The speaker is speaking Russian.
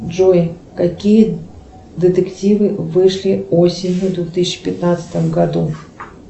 джой какие детективы вышли осенью в две тысячи пятнадцатом году